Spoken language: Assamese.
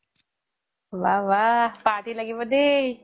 ৱাহ ৱাহ party লাগিব দেই